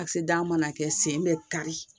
kisɛdiya mana kɛ sen bɛ kari